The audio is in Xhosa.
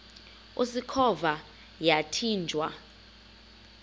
usikhova yathinjw a